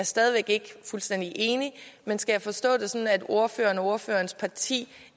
stadig væk ikke fuldstændig enig men skal jeg forstå det sådan at ordføreren og ordførerens parti